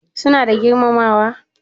Suna da girmamawa?